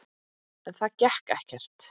En það gekk ekkert.